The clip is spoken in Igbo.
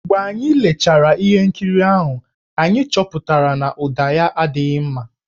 Mgbe anyị lechara ihe nkiri ahụ, anyị chọpụtara na ụda ya adịghị mma.